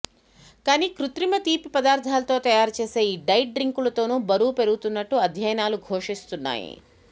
కానీ కృత్రిమ తీపి పదార్థాలతో తయారు చేసే ఈ డైట్ డ్రింకులతోనూ బరువు పెరుగుతున్నట్టు అధ్యయనాలు ఘోషిస్తున్నాయి